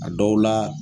A dɔw la